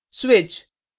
switch